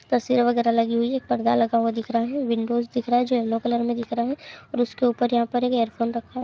तस्वीरे वगेरा लगी हुई है एक पर्दा लगा हुआ दिख रहा है विंडोज दिख रहा है जो येलो कलर में दिख रहा है और उसके ऊपर एक ईरफ़ोन रखा--